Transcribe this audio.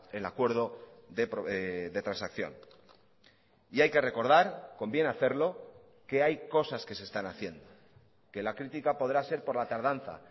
el acuerdo de transacción y hay que recordar conviene hacerlo que hay cosas que se están haciendo que la crítica podrá ser por la tardanza